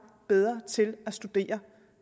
bedre til at studere